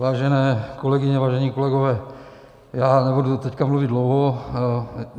Vážené kolegyně, vážení kolegové, já nebudu teď mluvit dlouho.